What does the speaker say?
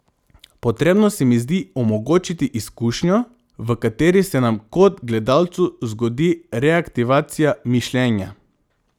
Potrebno se mi zdi omogočiti izkušnjo, v kateri se nam kot gledalcu zgodi reaktivacija mišljenja.